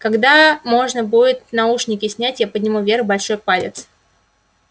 когда можно будет наушники снять я подниму вверх большой палец